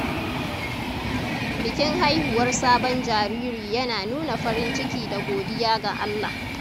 Bikin haihuwar sabon jariri yana nuna farin ciki da godiya ga Allah.